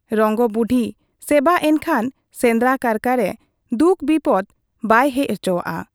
ᱨᱚᱝᱜᱚ ᱵᱩᱰᱦᱤ ᱥᱮᱵᱟ ᱮᱱᱠᱷᱟᱱ ᱥᱮᱸᱫᱽᱨᱟ ᱠᱟᱨᱠᱟ ᱨᱮ ᱫᱩᱠ ᱵᱤᱯᱚᱫᱽ ᱵᱟᱭ ᱦᱮᱡ ᱚᱪᱚᱣᱟᱜ ᱟ ᱾